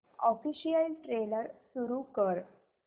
official trailer सुरू कर